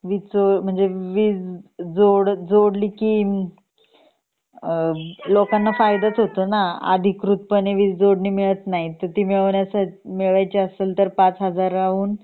वीज जोड जोडली की अ लोकांना फायदाच होतो ना अधिकृतपणे वीज जोडणी मिळत नही आणि ती मिळवायची असेल तर पाच हजार हूंन